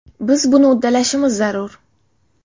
Biz buni uddalashimiz zarur.